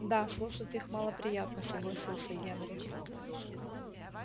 да слушать их малоприятносогласился генри